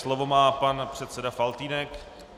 Slovo má pan předseda Faltýnek.